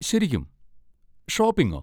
ശരിക്കും? ഷോപ്പിംഗോ?